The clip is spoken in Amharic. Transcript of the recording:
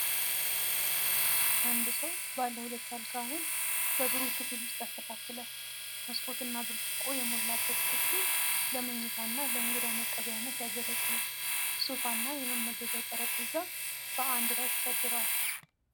አንድ ሰው ባለ ሁለት አልጋውን በብሩህ ክፍል ውስጥ ያስተካክላል። መስኮትና ብርጭቆ የሞላበት ክፍሉ ለመኝታ እና ለእንግዳ መቀበያነት ያገለግላል። ሶፋ እና የመመገቢያ ጠረጴዛ በአንድ ላይ ተሰድረዋል።